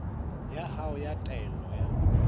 ya hao ya taelo ya